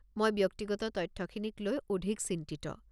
মই ব্যক্তিগত তথ্যখিনিক লৈ অধিক চিন্তিত।